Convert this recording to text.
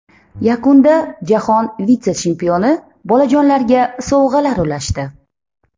Yakunda jahon vitse-chempioni bolajonlarga sovg‘alar ulashdi.